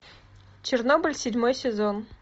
чернобыль седьмой сезон